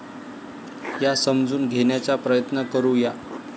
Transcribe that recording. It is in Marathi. या समजून घेण्याचा प्रयत्न करू या.